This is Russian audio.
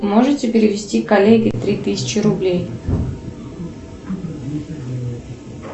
можете перевести коллеге три тысячи рублей